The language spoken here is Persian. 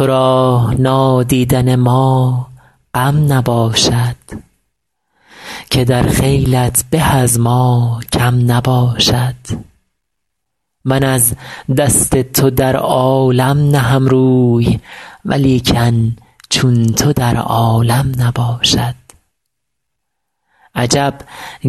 تو را نادیدن ما غم نباشد که در خیلت به از ما کم نباشد من از دست تو در عالم نهم روی ولیکن چون تو در عالم نباشد عجب